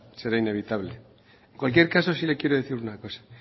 será inevitable en cualquier caso sí le quiero decir una cosa